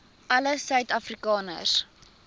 alle suid afrikaners